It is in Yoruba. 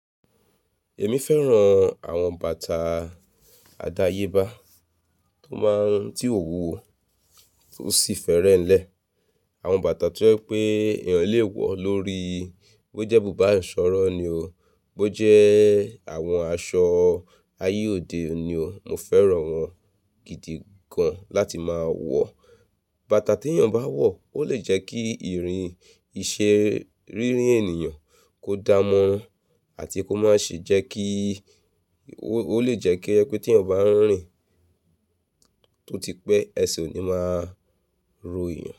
Èmi fẹ́ràn àwọn bàtà àdáyébá tó máa ń ti ò wúwo tó sì fẹ́rẹ́ ń lẹ̀. Àwọn bàtà tó jẹ́ pé èèyàn lè wọ̀ lórí i, bó jẹ́ búbà ìṣọ̀rọ̀ ni o, bó jẹ́ àwọn aṣọ ayé òde ni o, mo fẹ́ràn wọ́n gidi gan láti máa wọ̀. Bàtà tí èèyàn bá wọ̀ ó lè jẹ́ kí ìrìn ìṣeré rírin ènìyàn kó dáa mọ́ ọn àti kó má ṣe jẹ́ kí, ó lè jẹ́ kí ẹ pé tí èèyàn bá ń rìn tó ti pẹ́, ẹṣe oò ní máa rọ èèyàn.